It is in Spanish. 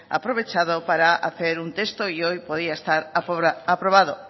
aprovechado para hacer un texto y hoy podría estar aprobado